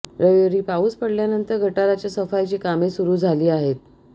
रविवारी पाऊस पडल्यानंतर गटाराच्या सफाईची कामे सुरू झाली आहेत